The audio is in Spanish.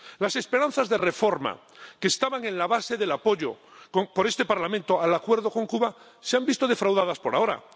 Las esperanzas de reforma que estaban en la base del apoyo por este Parlamento al Acuerdo con Cuba se han visto defraudadas por ahora.